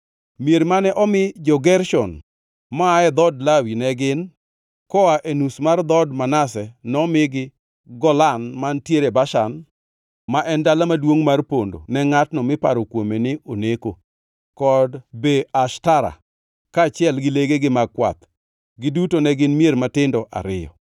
Mier mane omi jo-Gershon maa e dhood Lawi ne gin: Koa e nus mar dhood Manase, nomigi, Golan mantiere Bashan (ma en dala maduongʼ mar pondo ne ngʼatno miparo kuome ni oneko), kod Be Eshtara, kaachiel gi legegi mag kwath. Giduto ne gin mier matindo ariyo.